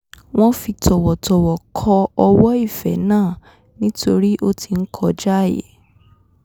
wọ́n fi tọ̀wọ̀tọ̀wọ̀ kọ ọwọ́ ìfẹ́ náà nítorí ó ti ń kọjaàyè